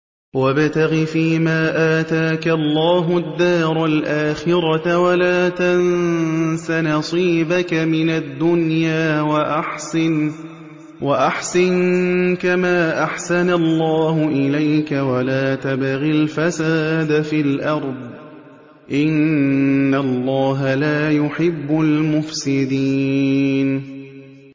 وَابْتَغِ فِيمَا آتَاكَ اللَّهُ الدَّارَ الْآخِرَةَ ۖ وَلَا تَنسَ نَصِيبَكَ مِنَ الدُّنْيَا ۖ وَأَحْسِن كَمَا أَحْسَنَ اللَّهُ إِلَيْكَ ۖ وَلَا تَبْغِ الْفَسَادَ فِي الْأَرْضِ ۖ إِنَّ اللَّهَ لَا يُحِبُّ الْمُفْسِدِينَ